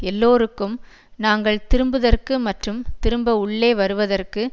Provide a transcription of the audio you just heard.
எல்லோருக்கும் நாங்கள் திரும்புதற்கு மற்றும் திரும்ப உள்ளே வருவதற்கு